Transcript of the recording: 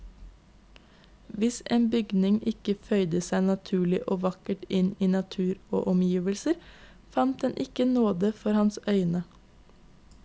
Hvis en bygning ikke føyde seg naturlig og vakkert inn i natur og omgivelser, fant den ikke nåde for hans øyne.